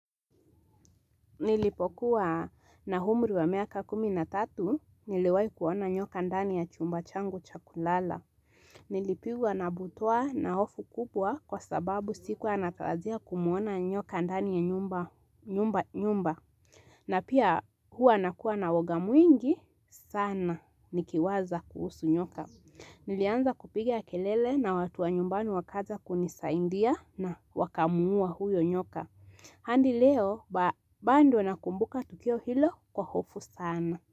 Nilipokuwaa na humri wa miaka kumi na tatu, niliwai kuona nyoka ndani ya chumba changu cha kulala. Nilipigwa na butwa na hofu kubwa kwa sababu sikuwa natarajia kumuona nyoka ndani ya nyumba nyumba nyumba. Na pia, huwa nakuwa na woga mwingi sana nikiwaza kuhusu nyoka. Nilianza kupiga kelele na watu wa nyumbani wakaja kunisaindia na wakamuuwa huyo nyoka. Handi leo, ba bando nakumbuka tukio hilo kwa hofu sana.